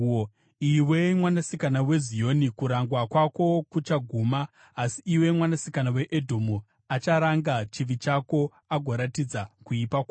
Iwe, Mwanasikana weZioni, kurangwa kwako kuchaguma; haangawedzeri mazuva ako outapwa. Asi, iwe Mwanasikana weEdhomu, acharanga chivi chako agoratidza kuipa kwako.